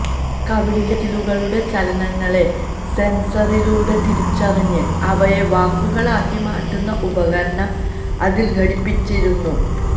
കവിളിലെ മസിലുകളുടെ ചലനങ്ങളെ സെൻസറിലൂടെ തിരിച്ചറിഞ്ഞ് അവയെ വാക്കുകളാക്കി മാറ്റുന്ന ഉപകരണം അതിൽ ഘടിപ്പിച്ചിരുന്നു